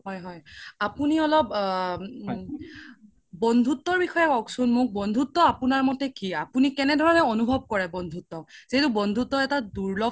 হয় হয় আপোনি অলপ বন্ধুত্বৰ বিষয়ে কওক্চোন মোক বন্ধুত্বৰ আপোনাৰ মতে কি আপোনি কেনে ধৰণে অনোভব কৰে বন্ধুত্ব যিহেতু বন্ধুত্ব এটা দুৰলভ